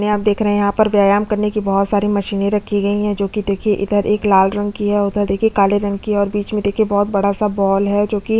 यहाँ नीले रंग का और यहाँ पर लड़की का एक चित्र बना हुआ है और अगल-बगल दिवाल है वो सफेद रंग का है और ऊपर देखिये बहोत सारी लाइट लगी है।